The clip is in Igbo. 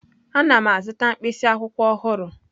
Ana m azụta mkpịsị akwụkwọ ọhụrụ.